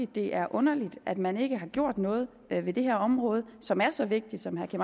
det er underligt at man ikke har gjort noget ved ved det her område som er så vigtigt som herre